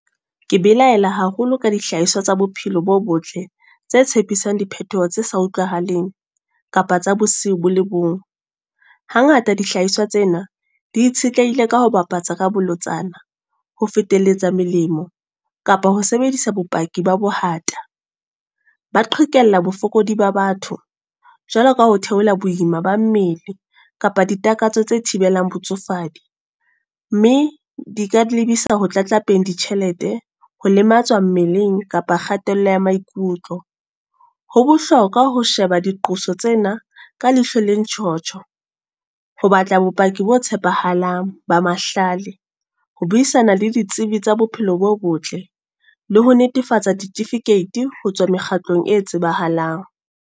Ke belaela haholo ka dihlahiswa tsa bophelo bo botle. Tse tshepisang di phethoho tse sa utlwahaleng, kapa tsa bosiu bo le bong. Hangata dihlahiswa tsena di itshetlehile ka ho bapatsa ka bolotsana, ho feteletsa melemo. Kapa ho sebedisa bopaki ba bohata. Ba qhekella bofokodi ba batho. Jwalo ka ho theohela boima ba mmele, kapa ditakatso tse thibelang botsofadi. Mme di ka di lebisa ho tlatlapeng di tjhelete. Ho lematswa mmeleng, kapa kgatello ya maikutlo. Ho bohlokwa ho sheba diqoso tsena, ka leihlo le ntjhotjho. Ho batla bopaki bo tshepahalang ba mahlale. Ho buisana le ditsebi tsa bophelo bo botle. Le ho netefatsa ditifikeiti ho tswa mekgatlong e tsebahalang.